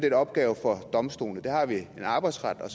en opgave for domstolene det har vi arbejdsretten